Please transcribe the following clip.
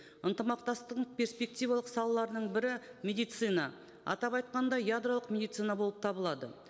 перспективалық салаларының бірі медицина атап айтқанда ядролық медицина болып табылады